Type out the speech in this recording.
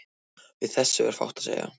Við þessu er fátt að segja.